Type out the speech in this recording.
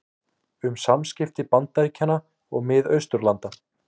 Um samskipti Bandaríkjanna og Mið-Austurlanda